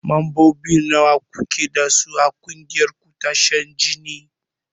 Mambobi nawa kuke dasu a ƙungiyar ku ta shan jini?